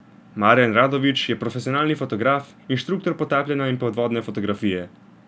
Marjan Radović je profesionalni fotograf, inštruktor potapljanja in podvodne fotografije.